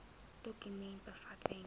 dokument bevat wenke